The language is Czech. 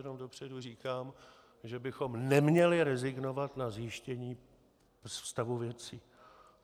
Jenom dopředu říkám, že bychom neměli rezignovat na zjištění stavu věcí.